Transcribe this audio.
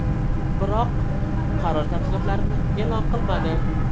Biroq qaror tafsilotlarini e’lon qilmadi.